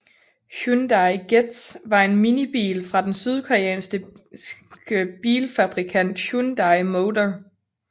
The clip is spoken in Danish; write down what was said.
Hyundai Getz var en minibil fra den sydkoreanske bilfabrikant Hyundai Motor